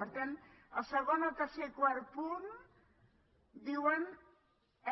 per tant el segon el tercer i quart punt diuen